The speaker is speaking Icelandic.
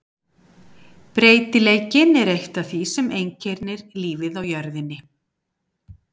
Breytileikinn er eitt af því sem einkennir lífið á jörðinni.